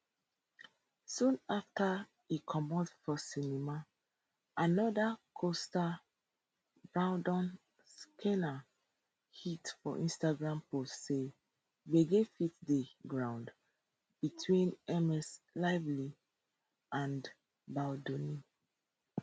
soon afta e comot for cinema anoda costar brandon sklenar hint for instagram post say gbege fit dey ground between ms lively and baldoni